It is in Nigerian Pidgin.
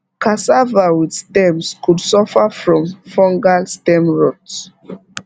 cassava with stems could suffer from fungal stem rot